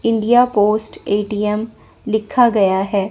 India Post A T M लिखा गया हैै।